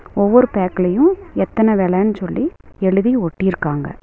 ஒவ்வொரு பேக்ளயு எத்தன வெலன் சொல்லி எழுதி ஒட்டிருக்காங்க.